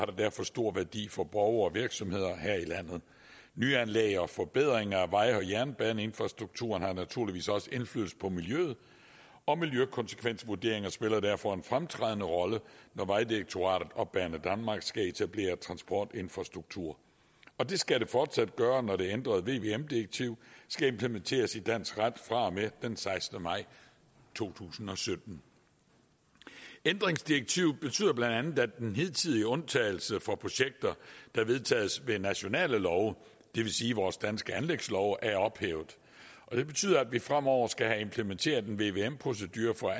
det derfor stor værdi for borgere og virksomheder her i landet nyanlæg og forbedringer af vej og jernbaneinfrastrukturen har naturligvis også indflydelse på miljøet og miljøkonsekvensvurderinger spiller derfor en fremtrædende rolle når vejdirektoratet og banedanmark skal etablere transportinfrastruktur og det skal det fortsat gøre når det ændrede vvm direktiv skal implementeres i dansk ret fra og med den sekstende maj to tusind og sytten ændringsdirektivet betyder bla at den hidtidige undtagelse for projekter der vedtages ved nationale love det vil sige vores danske anlægslove er ophævet og det betyder at vi fremover skal have implementeret en vvm procedure for